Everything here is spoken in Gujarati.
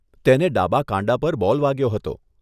તેને ડાબા કાંડા પર બોલ વાગ્યો હતો.